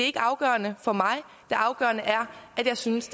ikke afgørende for mig det afgørende er at jeg synes